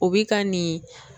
O bi ka nin